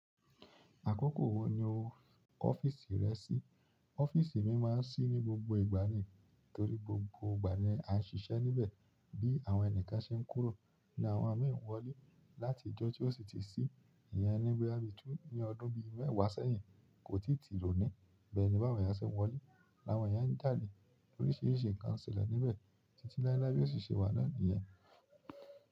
Àkókò wo ni o kọ ọ́fíìsì rẹ sí? Ọ́fíìsì mi máa ń ṣí ní gbogbo ìgbà nì, torí gbogbo ìgbà ni a ń ṣiṣẹ́ níbẹ̀. Bí àwọn ẹni kan ṣe ń kúrò ní àwọn min n ìwọlé láti ìjọ tí ó sì ti sí, ìyẹn ní bóyá bí ní ọdún bí mẹ́wàá sẹ́yìn, kò tíì tìro ni. Bẹ́ẹ̀ ni báwo ni a ṣe ń wọlé, láwọn èèyàn ń jáde óríṣiríṣi nǹkan n ṣẹlẹ̀ níbẹ̀ títí láé láé bí yio si ṣe wà na niyen.